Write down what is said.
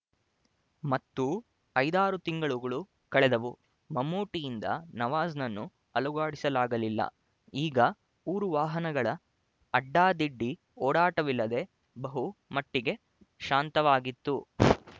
ಮತ್ತೂ ಐದಾರು ತಿಂಗಳೂ ಕಳೆದುವು ಮಮ್ಮೂಟಿಯಿಂದ ನವಾಜ್‍ನನ್ನು ಅಲುಗಾಡಿಸಲಾಗಲಿಲ್ಲ ಈಗ ಊರು ವಾಹನಗಳ ಅಡ್ಡಾದಿಡ್ಡಿ ಓಡಾಟವಿಲ್ಲದೆ ಬಹು ಮಟ್ಟಿಗೆ ಶಾಂತವಾಗಿತ್ತು